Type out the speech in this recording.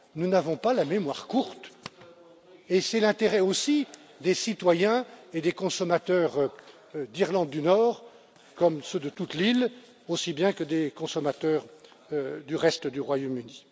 Nous n'avons pas la mémoire courte et c'est l'intérêt aussi des citoyens et des consommateurs d'Irlande du Nord, comme ceux de toute l'île, aussi bien que des consommateurs du reste du Royaume Uni.